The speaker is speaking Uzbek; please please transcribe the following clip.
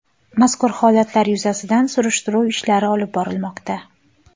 Mazkur holatlar yuzasidan surishtiruv ishlari olib borilmoqda.